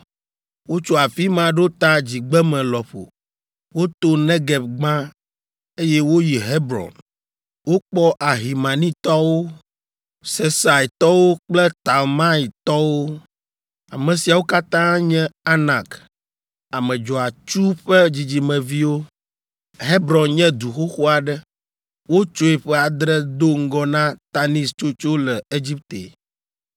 Wotso afi ma ɖo ta dzigbeme lɔƒo; woto Negeb gbã, eye woyi Hebron. Wokpɔ Ahimanitɔwo, Sesaitɔwo kple Talmaitɔwo. Ame siawo katã nye Anak, ame dzɔatsu ƒe dzidzimeviwo. (Hebron nye du xoxo aɖe. Wotsoe ƒe adre do ŋgɔ na Tanis tsotso le Egipte.)